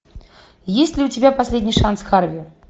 есть ли у тебя последний шанс харви